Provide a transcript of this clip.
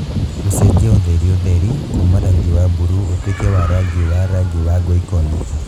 gũcenjia ũtheriũtheri kuuma rangi wa mburuu ũtuĩke wa rangi wa rangi wa rangi Ngoikoni